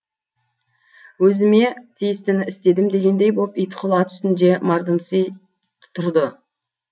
өзіме тиістіні істедім дегендей боп итқұл ат үстінде мардымси тұрды